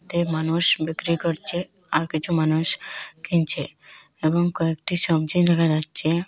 তে মানুষ বিক্রি করছে আর কিছু মানুষ কিনছে এবং কয়েকটি সব্জী দেখা যাচ্ছে।